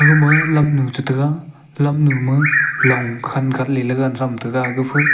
aga ma lamnu cha tega lamnu ma long khan khan lele tham tega.